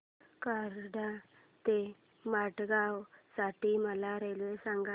कराड ते मडगाव साठी मला रेल्वे सांगा